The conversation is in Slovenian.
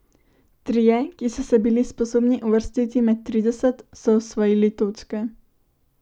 Trije, ki so se bili sposobni uvrstiti med trideset, so osvojili točke.